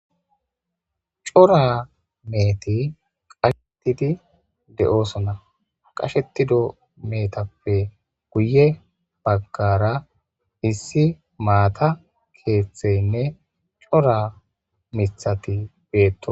cora meeti qashettidi de7oosona qashetido meetappe guye baggara issi maata keeththeynne cora mithati beetto